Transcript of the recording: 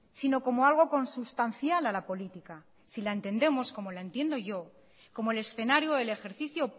sino como algo consustancial a la política si la entendemos como la entiendo yo como el escenario o el ejercicio